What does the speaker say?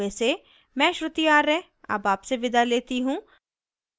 यह स्क्रिप्ट प्रभाकर द्वारा अनुवादित है आई आई टी बॉम्बे से मैं श्रुति आर्य अब आपसे विदा लेती हूँ